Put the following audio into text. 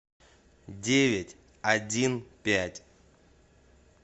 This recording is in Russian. девять один пять